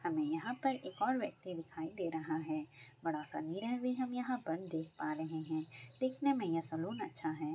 हमे यहाँ पर एक और व्यक्ति दिखाई दे रहा है। बड़ा सा मिरर भी हम यहाँ पर देख पा रहे हैं देखने में यह सलून अच्छा है।